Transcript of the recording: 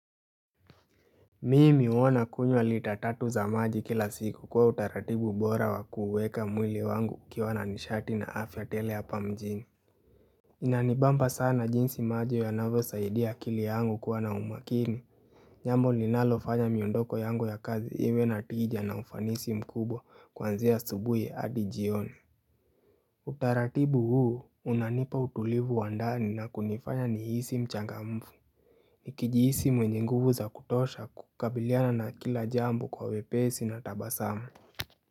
Mimi huwa kunywa lita tatu za maji kila siku kwa utaratibu bora wa kuweka mwili wangu ukiwa na nishati na afya tele hapa mjini Inanibamba sana jinsi maji yanavyo saidia akili yangu kuwa na umakini jambo linalofanya miondoko yangu ya kazi iwe na tija na ufanisi mkubwa kwanzia asubuhi hadi jioni Utaratibu huu unanipa utulivu wa ndani na kunifanya nihisi mchangamfu Nikijihisi mwenye nguvu za kutosha kukabiliana na kila jambo kwa wepesi na tabasamu.